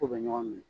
K'u bɛ ɲɔgɔn minɛ